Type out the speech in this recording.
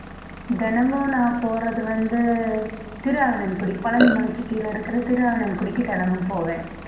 தினமும் நான் போறது வந்து திருஆவினன்குடி பழனி மலைக்கு கீழ இருக்கிற திருஆவினன்குடிக்கு தினமும் போவேன்